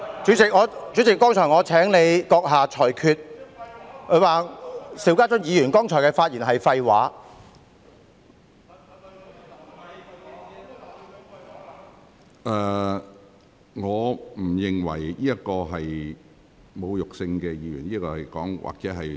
主席，我剛才請閣下就謝偉俊議員說"邵家臻議員剛才的發言是廢話"這句話作出裁決。